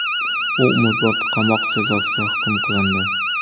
U umrbod qamoq jazosiga hukm qilindi .